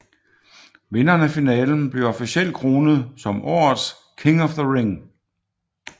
Vinderen af finalen bliver officielt kronet som årets King of the Ring